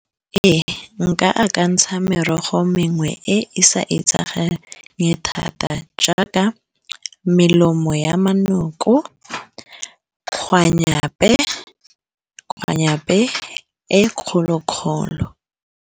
Ee nka akantsha merogo mengwe e e sa etsagala thata jaaka melemo ya manoko, kgwanyape-kgwanyape, e kgolo-kgolo.